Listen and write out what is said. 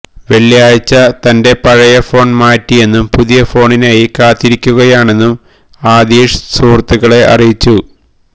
വെള്ളിയാഴ്ച തന്റെ പഴയ ഫോണ് മാറ്റിയെന്നും പുതിയ ഫോണിനായി കാത്തിരിക്കുകയാണെന്നും ആതിഷ് സുഹൃത്തുക്കളെ അറിയിച്ചു